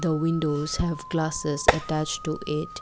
The window have glasses attach to it.